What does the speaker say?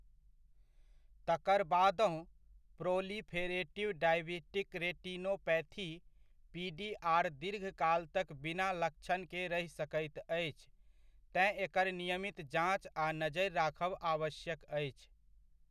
तकर बादहुँ, proliferative diabetic retinopathy, PDR दीर्घकाल तक बिना लक्षणके रहि सकैत अछि, तेँ एकर नियमित जाँच आ नजरि राखब आवश्यक अछि।